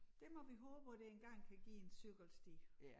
Det må vi håbe at det engang kan give en cykelsti